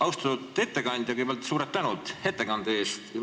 Austatud ettekandja, kõigepealt suur tänu ettekande eest!